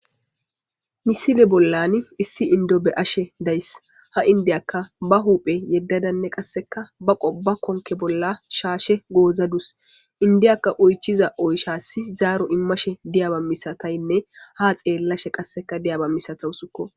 Missile bollan issi inddo beashshe days ha indaka ba huphphe yedadda ba konkke bolla shshashe gozadus indaka oychchiza oychchas zaaro immashshe diyaba misatyanne ha xxelashshe qasseka diyaba missatausukko.